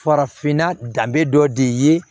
Farafinna danbe dɔ de ye